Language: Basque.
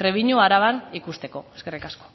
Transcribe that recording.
trebiñu araban ikusteko eskerrik asko